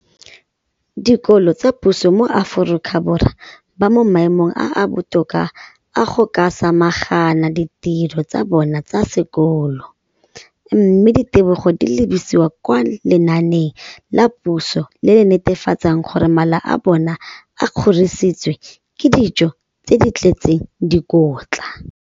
Dikolo tsa puso mo Aforika Borwa ba mo maemong a a botoka a go ka samagana le ditiro tsa bona tsa sekolo, mme ditebogo di lebisiwa kwa lenaaneng la puso le le netefatsang gore mala a bona a kgorisitswe ka dijo tse di tletseng dikotla.